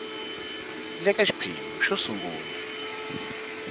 le ka xiphemu xo sungula